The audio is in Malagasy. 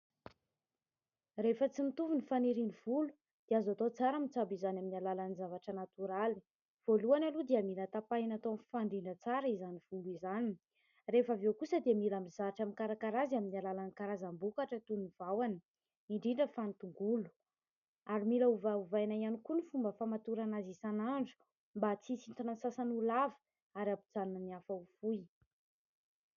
Rehefa tsy mitovy ny fanirian'ny volo dia azo atao tsara ny mitsabo izany amin'ny alalan'ny zavatra natoraly. Voalohany aloha dia mila tapahina atao mifandila tsara izany volo izany, rehefa avy eo kosa dia mila mizatra mikarakara azy amin'ny alalan'ny karazam-bokatra toy ny vahona indrindra fa ny tongolo, ary mila ovaovaina ihany koa ny fomba famatorana azy isan'andro mba tsy hisintona ny sasany ho lava ary hampijanona ny hafa ho fohy.